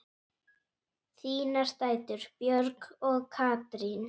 Þínar dætur, Björg og Katrín.